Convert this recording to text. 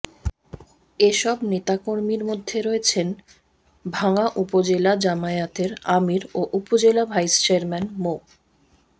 এসব নেতাকর্মীর মধ্যে রয়েছেন ভাঙ্গা উপজেলা জামায়াতের আমির ও উপজেলা ভাইস চেয়ারম্যান মো